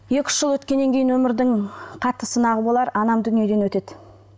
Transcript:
екі үш жыл өткеннен кейін өмірдің қатты сынағы болар анам дүниеден өтеді